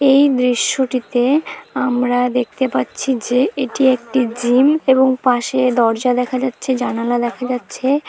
এই দৃশ্যটিতে আমরা দেখতে পাচ্ছি যে এটি একটি জিম | এবং পাশে দরজা দেখা যাচ্ছে জানালা দেখা যাচ্ছে |